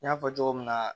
N y'a fɔ cogo min na